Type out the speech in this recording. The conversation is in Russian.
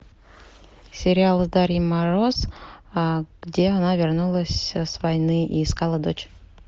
сериал с дарьей мороз где она вернулась с войны и искала дочь